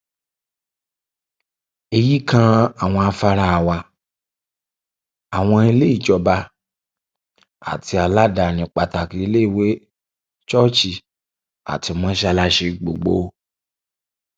èyí kan àwọn afárá wa àwọn ilé ìjọba àti aládàáni pàtàkì iléèwé ṣọọṣì àti mọsálásì gbogbo